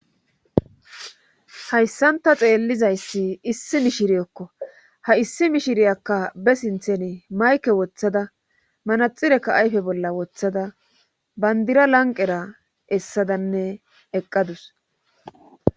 Hayssanta xeellizayssi issi mishiriyekko ha issi mishiriyakka be sinthen mayke woththada manaxirekka ayfe bolla woththada bandira lanqera essadanne eqqadus.